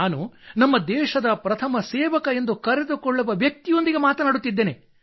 ನಾನು ನಮ್ಮ ದೇಶದ ಪ್ರಥಮ ಸೇವಕ ಎಂದು ಕರೆದುಕೊಳ್ಳುವ ವ್ಯಕ್ತಿಯೊಂದಿಗೆ ಮಾತನಾಡುತ್ತಿದ್ದೇನೆ